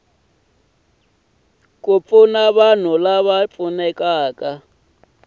ku pfuna vanhu lava nga